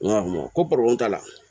N ko ko patɔrɔn t'a la